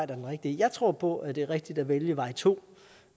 er den rigtige jeg tror på at det er rigtigt at vælge vej to